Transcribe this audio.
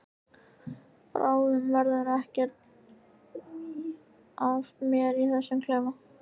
Bráðum verður ekkert eftir af mér í þessum klefa.